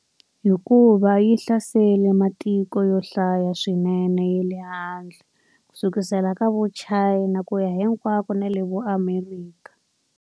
Hikuva yi hlaserile matiko yo hlaya swinene ye le handle. Kusukela ka vu Chana ku ya hinkwako na le vo Amerika.